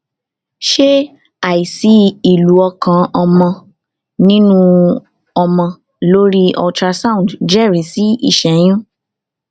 ìbéèrè lílo oògùn fún àìsàn ìdààmú àìsàn ìdààmú ọkàn ṣùgbọn kò rórun sùn